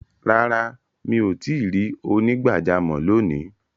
Rárá, mi o tìí rí onígbàjàmọ̀ lóní.